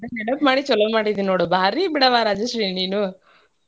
ನೆನಪ್ ಮಾಡಿ ಛಲೋ ಮಾಡಿದಿ ನೋಡ್ ಭಾರಿ ಬಿಡವಾ ರಾಜೇಶ್ವರಿ ನೀನೂ.